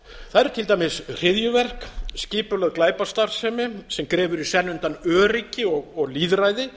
eru til dæmis hryðjuverk skipulögð glæpastarfsemi sem grefur í senn undan öryggi og lýðræði